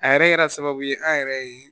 A yɛrɛ kɛra sababu ye an yɛrɛ ye